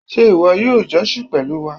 Ṣé ìwọ yóò jọ́sìn pẹ̀lú wa?